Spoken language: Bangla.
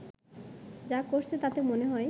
যা করছে তাতে মনে হয়